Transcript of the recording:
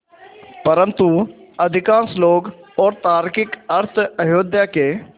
परन्तु अधिकांश लोग और तार्किक अर्थ अयोध्या के